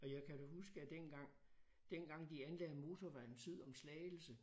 Og jeg kan da huske at dengang dengang de anlagde motorvejen syd om Slagelse